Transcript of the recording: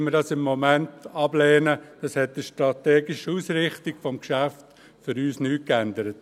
Für uns hat dies an der strategischen Ausrichtung des Geschäfts nichts geändert.